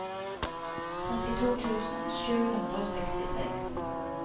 trettito tusen sju hundre og sekstiseks